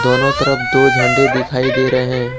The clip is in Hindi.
दोनों तरफ दो झंडी दिखाई दे रहे हैं।